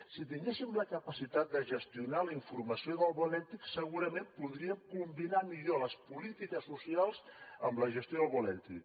si tinguéssim la capacitat de gestionar la informació del bo elèctric segurament podríem combinar millor les polítiques socials amb la gestió del bo elèctric